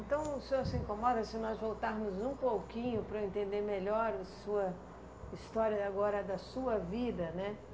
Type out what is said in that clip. Então o senhor se incomoda se nós voltarmos um pouquinho para eu entender melhor a sua história agora, da sua vida, né?